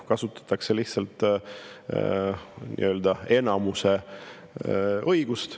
Kasutatakse lihtsalt nii-öelda enamuse õigust.